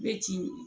I bɛ ci